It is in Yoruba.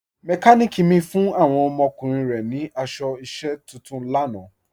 Mẹkàníkì mi fún awọn ọmọkùnrin rẹ̀ ni aṣọ iṣẹ̀ tuntun lànà.